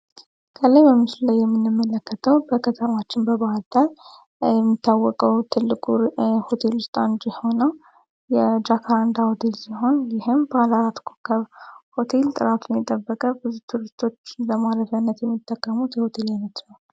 ከላይ በምስሉ የምንመለከተው በከተማችን ባህርዳር የሚታወቀው ትልቁ ሆቴል ውስጥ አንዱ ሲሆን የጃካንዳ ሆቴል ሲሆን ይህም ጥራቱን የጠበቀ ብዙ ቱሪስቶች ለማረፊያነት የሚጠቀሙት የሆቴል አይነት ነው።